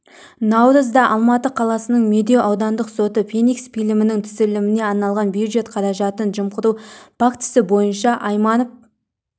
наурызда алматы қаласының медеу аудандық соты феникс фильмінің түсіріліміне арналған бюджет қаражатын жымқыру фактісі бойынша айманов